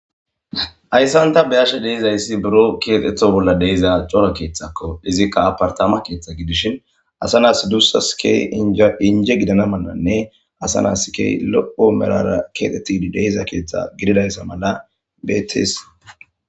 Hayssan ta be'ashe de'izaysi burro kexetishe de'iza cora keeththakko izikka apartamakeethi gidishin asanas duusas keehi inje gidana malanne asanas keehidi lo'o merrara keexethidi keexetida keeththa gididaysa mala beetes.